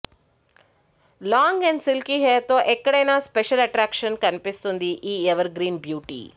long and silky hair తో ఎక్కడైనా special attraction కనిపిస్తుంది ఈ ఎవర్ గ్రీన్ బ్యూటీ